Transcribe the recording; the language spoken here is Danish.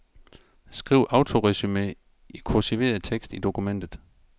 Skriv autoresumé af kursiveret tekst i dokumentet.